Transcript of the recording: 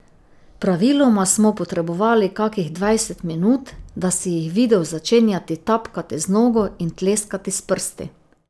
Praviloma smo potrebovali kakih dvajset minut, da si jih videl začenjati tapkati z nogo in tleskati s prsti.